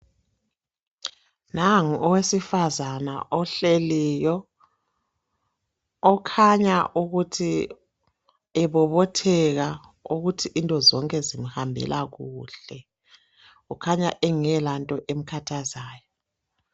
Nangu owesifazana ohleliyo okhanya ukuthi, ebobotheka ukuthi into zonke zimhambela kuhle kukhanya engelanto emkhathazayo.